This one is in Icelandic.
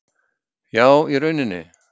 . Já í rauninni.